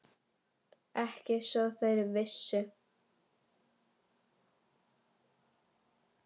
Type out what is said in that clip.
Ekki svo þeir vissu.